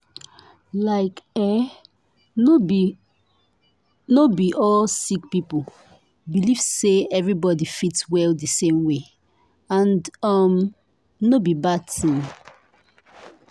like eeh no be no be all sick people believe say everybody fit well di same way and um no be bad tin.